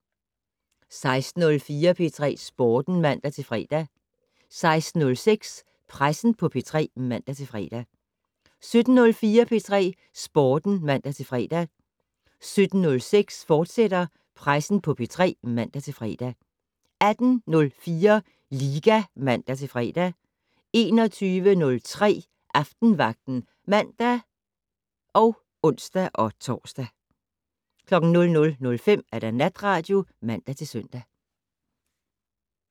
16:04: P3 Sporten (man-fre) 16:06: Pressen på P3 (man-fre) 17:04: P3 Sporten (man-fre) 17:06: Pressen på P3, fortsat (man-fre) 18:04: Liga (man-fre) 21:03: Aftenvagten (man og ons-tor) 00:05: Natradio (man-søn)